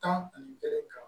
Tan ani berɛ kan